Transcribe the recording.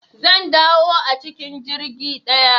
Zan dawo a cikin jirgi ɗaya